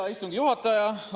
Hea istungi juhataja!